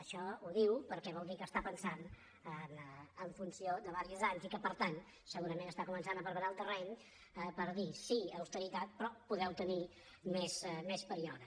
això ho diu perquè vol dir que està pensant en funció d’uns quants anys i que per tant segurament està començant a preparar el terreny per dir sí austeritat però podeu tenir més període